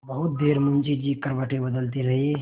बहुत देर मुंशी जी करवटें बदलते रहे